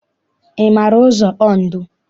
Ị maara ụzọ Ondo?